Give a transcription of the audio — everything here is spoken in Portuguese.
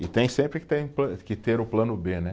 E tem sempre que ter, que ter o plano bê, né?